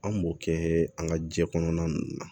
An b'o kɛ an ka jɛ kɔnɔna ninnu na